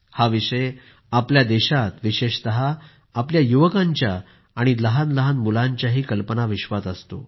हा विषय आपल्या देशात विशेषतः आपल्या युवकांच्या आणि लहानलहान मुलांच्याही कल्पनाविश्वात असतो